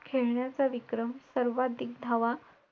It मध्ये जे program असतात आमचे same तसेचत